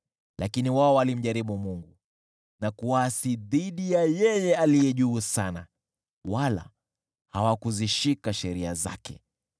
Lakini wao walimjaribu Mungu, na kuasi dhidi ya Yeye Aliye Juu Sana, wala hawakuzishika sheria zake.